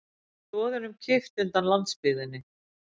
Stoðunum kippt undan landsbyggðinni